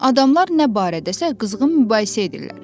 Adamlar nə barədəsə qızğın mübahisə edirlər.